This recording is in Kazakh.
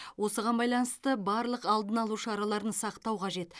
осыған байланысты барлық алдын алу шараларын сақтау қажет